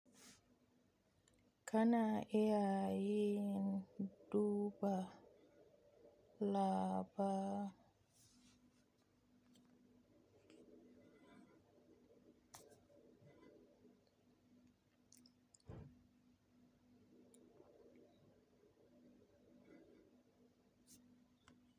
Kana iya yin duba laba--